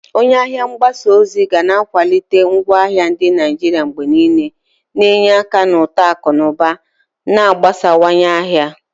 Onye ahịa mgbasa ozi ga na-akwalite ngwaahịa ndị Naijiria mgbe niile, na-enye aka na uto akụ na ụba na mgbasawanye ahịa.